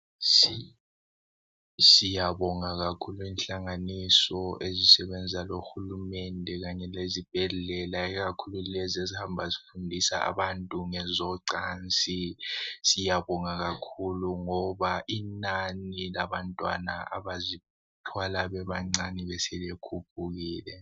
Siyabonga kakhulu inhlanganiso ezisebenza lohulumende kanye lezibhedlela ikakhulu lezi ezihamba zifundisa abantu ngezocansi. Siyabonga kakhulu ngoba inani labantwana abazithwala bebancane beselikhuphukile.